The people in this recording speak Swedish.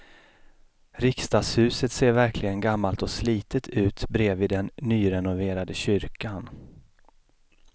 Riksdagshuset ser verkligen gammalt och slitet ut bredvid den nyrenoverade kyrkan.